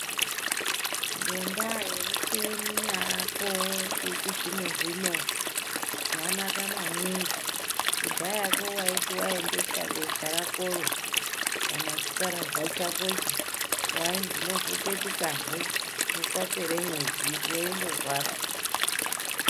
Ngendaa yemicheni yaako yechizvino-zvino zvanaka maningi kudhayako waiti waendesa besha rakoro kana chikararwa chakocho, wainzi mozopetukahe kwapere mwedzi, weindorwara.